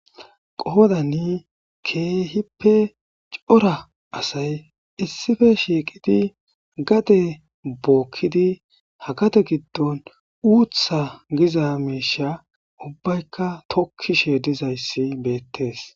qoodani keehippe cora asay issife shiiqidi gade bookkidi hakate giddon uutha giza meisha ubbaykka tokkishe dizayssi beettees